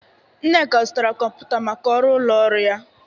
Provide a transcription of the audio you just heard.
Nneka zụtara kọmputa ọhụrụ maka ọrụ ụlọ ọrụ ya.